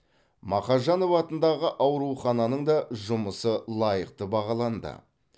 мақажанов атындағы аурухананың да жұмысы лайықты бағаланды